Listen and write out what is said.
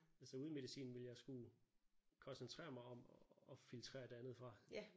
Altså uden medicinen ville jeg skulle koncentrere mig om at filtrere det andet fra